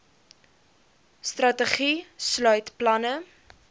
strategie sluit planne